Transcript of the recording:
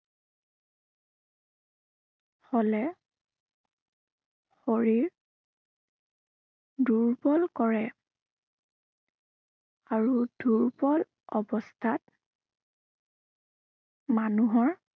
হলে শৰীৰ দুৰ্বল কৰে। আৰু দূৰ্বল অৱস্থাত মানুহৰ